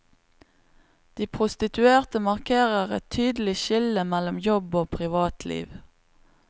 De prostituerte markerer et tydelig skille mellom jobb og privatliv.